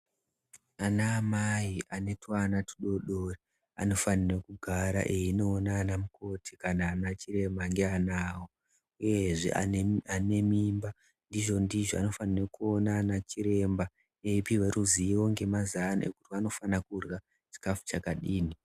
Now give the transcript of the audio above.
Ana amai ane tuana tudodori anofanire kugara einoona anamukoti kana ana chiremba ngeana awo uyezve ane mimba ndizvo ndizvo anofanirwe kuona ana chiremba eipiwe ruzivo nvemazano ekuti vanofana kurya chikafu chakadini